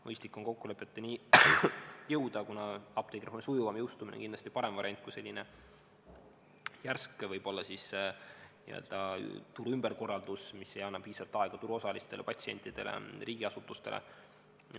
Mõistlik on kokkulepetele jõuda, kuna apteegireformi sujuvam jõustumine on kindlasti parem variant kui võib-olla järsk turu ümberkorraldus, mis ei anna piisavalt aega turuosalistele, patsientidele, riigiasutustele.